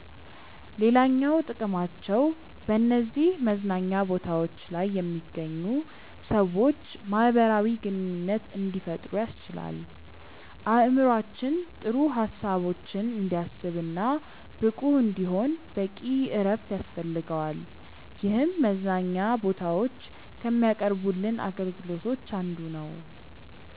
ሌላኛው ጥቅማቸው በነዚህ መዝናኛ ቦታዎች ላይ የሚገኙ ሰዎች ማህበራዊ ግንኙነት እንዲፈጥሩ ያስችላል። አእምሮአችን ጥሩ ሀሳቦችን እንዲያስብ እና ብቁ እንዲሆን በቂ እረፍት ያስፈልገዋል ይህም መዝናኛ ቦታዎች ከሚያቀርቡልን አገልግሎቶች አንዱ ነው።